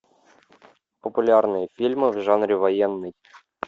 популярные фильмы в жанре военный